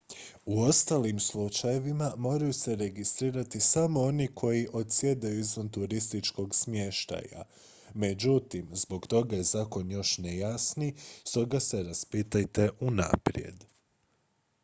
u ostalim slučajevima moraju se registrirati samo oni koji odsjedaju izvan turističkog smještaja međutim zbog toga je zakon još nejasniji stoga se raspitajte unaprijed